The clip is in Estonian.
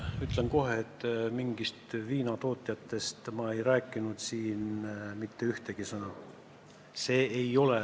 Ütlen kohe, et viinatootjate kohta ma ei öelnud siin mitte ühtegi sõna.